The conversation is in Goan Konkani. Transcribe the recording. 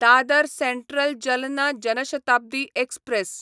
Dadar central Jalna Jan Shatabdi express